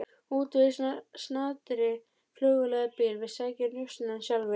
Útvegaðu í snatri flugvél eða bíl, við sækjum njósnarann sjálfir.